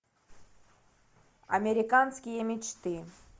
американские мечты